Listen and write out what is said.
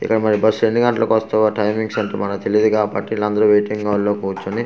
ఇక్కడ మరి బస్సు ఎన్ని గంటలకు వస్తుందో టైమింగ్స్ మనకు తెలీదు కాబట్టి విలందరూ వెయిటింగ్ హాల్ లో కూర్చొని .]